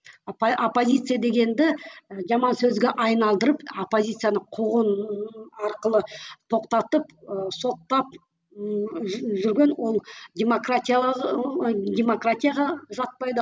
оппозиция дегенді і жаман сөзге айналдырып оппозицияны қуғын арқылы тоқтатып ы соттап ыыы жүрген ол демократия демократияға жатпайды